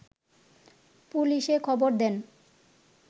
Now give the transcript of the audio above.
পুলিশে খবর দেন